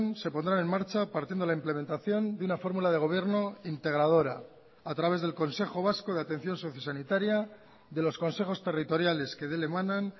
se pondrán en marcha partiendo la implementación de una fórmula de gobierno integradora a través del consejo vasco de atención sociosanitaria de los consejos territoriales que de él emanan